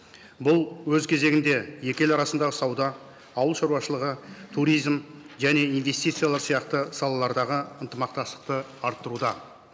бұл өз кезегінде екі ел арасындағы сауда ауыл шаруашылығы туризм және инвестициялар сияқты салалардағы ынтымақтастықты арттыруда